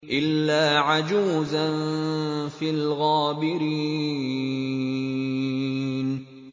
إِلَّا عَجُوزًا فِي الْغَابِرِينَ